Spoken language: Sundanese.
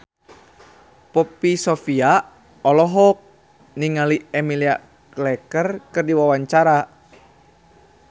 Poppy Sovia olohok ningali Emilia Clarke keur diwawancara